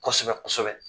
Kosɛbɛ kosɛbɛ